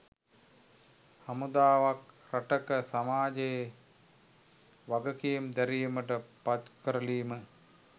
හමුදාවක් රටක සමාජයේ වගකීම් දැරීමට පත්කරලීම